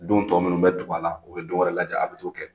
Don tɔ minnu bɛ tugu a la u bɛ don wɛrɛ lajɛ a bɛ t'o kɛ.